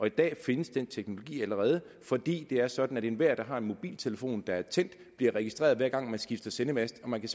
i dag findes den teknologi allerede fordi det er sådan at enhver der har en mobiltelefon der er tændt bliver registreret hver gang man skifter sendemast og man kan